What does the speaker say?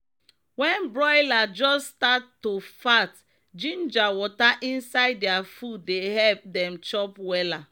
wen broiler just stat to fat ginger water inside dia food dey epp dem chop wella.